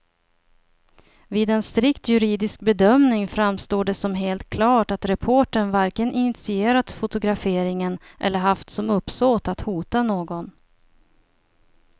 Vid en strikt juridisk bedömning framstår det som helt klart att reportern varken initierat fotograferingen eller haft som uppsåt att hota någon.